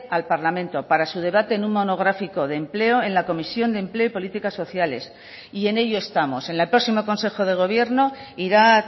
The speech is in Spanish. al parlamento para su debate en un monográfico de empleo en la comisión de empleo y políticas sociales y en ello estamos en el próximo consejo de gobierno ira a